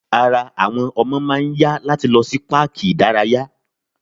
Ara àwọn ọmọdé máà ń yá láti lọ sí páàkì ìdárayá.